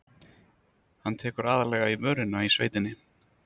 Hann tekur aðallega í vörina í sveitinni.